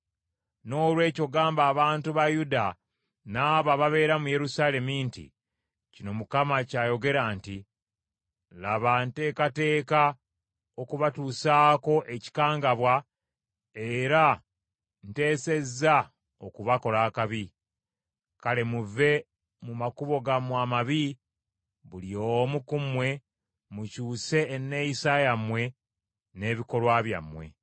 “Noolwekyo gamba abantu ba Yuda n’abo ababeera mu Yerusaalemi nti, ‘Kino Mukama ky’ayogera nti, Laba ntekateeka okubatuusaako ekikangabwa era nteesezza okubakola akabi. Kale muve mu makubo gammwe amabi, buli omu ku mmwe, mukyuse enneeyisa yammwe n’ebikolwa byammwe.’